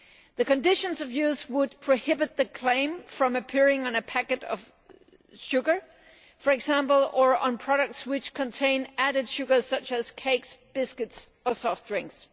The conditions of use would prohibit the claim from appearing on a packet of sugar, for example, or on products which contain added sugars, such as cakes, biscuits or soft drinks.